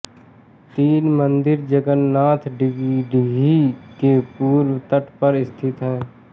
तीन मंदिर जगन्नाथ डिघी के पूर्व तट पर स्थित है